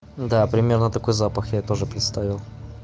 да примерно такой запах я тоже представил